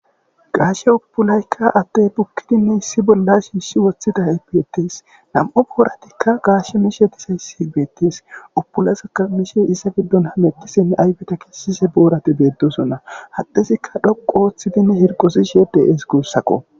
Gaysho punayththa addee bukki shiishshi woththiday beeththees; hagaashe misha dizayssi beethhees; obbolazikka isa giddon hamoththishenne ayfetha kessishe boorathi beeththoosona; haddezikka dhoqqu ooththizi harqqizishe de7ees guussakkoo.